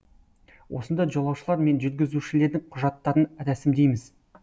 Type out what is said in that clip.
осында жолаушылар мен жүргізушілердің құжаттарын рәсімдейміз